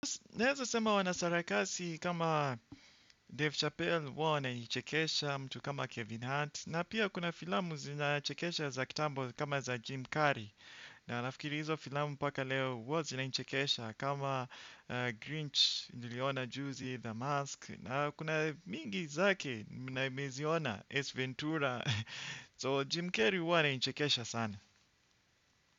Naeza sema wanasarakasi kama Dave Chappell huwa wananichekesha mtu kama Kevin Heart. Na pia kuna filamu zenye anachekesha za kitambo kama za Jim Carrey. Na nafikiri hizo filamu mpaka leo huwa zinanichekesha kama Grinch niliona Juzi, The Mask. Na kuna mingi zake nimeziona Ace Ventura So Jim Carrey huwa ananichekesha sana.